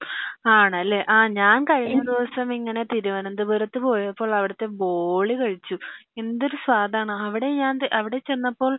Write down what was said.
ആണല്ലേ അഹ് ഞാൻ കഴിഞ്ഞ ദിവസം ഇങ്ങനെ തിരുവനന്തപുരത്തു പോയപ്പോൾ അവിടത്തെ ബോളി കഴിച്ചു എന്തൊരു സ്വദാണ് അവിടെ ഞാൻ അവിടെ ചെന്നപ്പോ